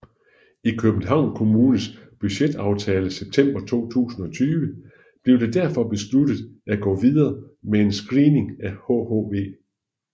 I Københavns Kommunes budgetaftale september 2020 blev det derfor besluttet at gå videre med en screening af hhv